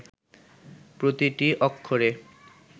প্রতিটি অক্ষরে